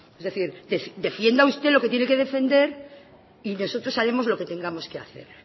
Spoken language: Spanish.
es decir defienda usted lo que tiene que defender y nosotros haremos lo que tengamos que hacer